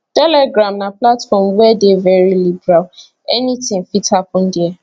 telegram na platform wey dey very liberal anything fit happen dia